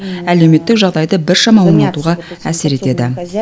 әлеуметтік жағдайды біршама оңалтуға әсер етеді